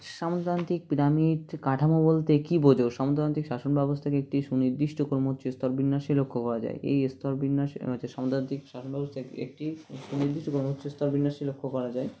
সামন্ততান্ত্রিক pyramid কাঠামো বলতে কী বোঝো সামন্ততান্ত্রিক শাসনব্যবস্থাকে একটি সুনির্দিষ্ট কর্মোস্তর বিন্যাসে লক্ষ্য করা যায় এই স্তর বিন্যাস আচ্ছা সামন্ততান্ত্রিক শাসনব্যবস্থাকে একটি সুনির্দিষ্ট কর্মোস্তর বিন্যাসে লক্ষ্য করা যায়